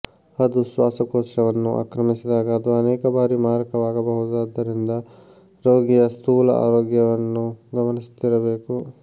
ಅದು ಶ್ವಾಸಕೋಶವನ್ನು ಆಕ್ರಮಿಸಿದಾಗ ಅದು ಅನೇಕ ಬಾರಿ ಮಾರಕವಾಗಬಹುದಾದರಿಂದ ರೋಗಿಯ ಸ್ಥೂಲ ಆರೋಗ್ಯವನ್ನು ಗಮನಿಸುತ್ತಿರಬೇಕು